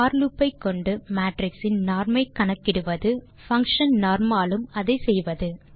போர் loop ஐக்கொண்டு matrix இன் norm ஐ கணக்கிடுவது மற்றும் பங்ஷன் norm ஆலும் அதை செய்வது